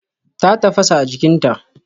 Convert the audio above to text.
Ta tafasa a jikinta.